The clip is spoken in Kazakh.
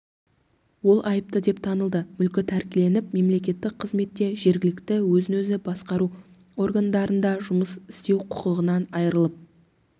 ол айыпты деп танылды мүлкі тәркіленіп мемлекеттік қызметте жергілікті өзін-өзі басқару органдарында жұмыс істеу құқығынан айырылып